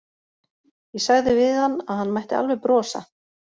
Ég sagði við hann að hann mætti alveg brosa.